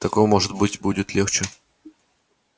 так вам может быть будет легче